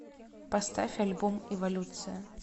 поставь альбом эволюция